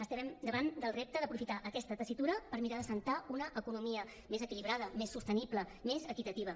estem davant del repte d’aprofitar aquesta tessitura per mirar d’assentar una economia més equilibrada més sostenible més equitativa